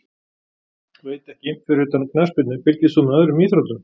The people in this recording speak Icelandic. Veit ekki Fyrir utan knattspyrnu, fylgist þú með öðrum íþróttum?